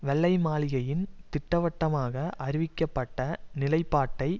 வெள்ளை மாளிகையின் திட்டவட்டமாக அறிவிக்கப்பட்ட நிலைபாட்டை